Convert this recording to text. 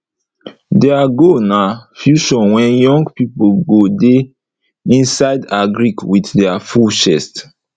deir goal na future were young pipo go de inside agric with deir full chest